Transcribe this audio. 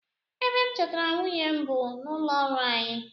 Ebe m chọtara nwunye m bụ n'ụlọọrụ anyi